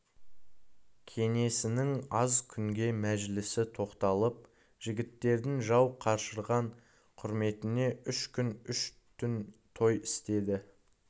кеңесінің аз күнге мәжілісі тоқталып жігіттердің жау қашырған құрметіне үш күн үш түн той істеді